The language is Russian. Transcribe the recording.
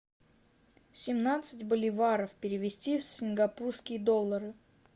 семнадцать боливаров перевести в сингапурские доллары